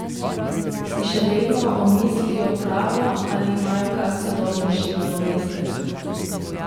Si še vedno omislijo pravo ali imajo kak sodobnejši nadomestek?